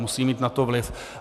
Musí mít na to vliv.